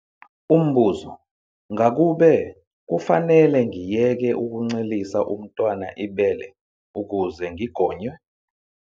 Umbuzo- Ngakube kufanele ngiyeke ukuncelisa umntwana ibele ukuze ngigonywe?